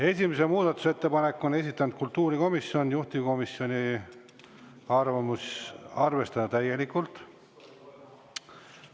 Esimese muudatusettepaneku on esitanud kultuurikomisjon, juhtivkomisjoni arvamus on arvestada seda täielikult.